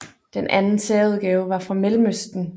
Den anden særudgave var fra Mellemøsten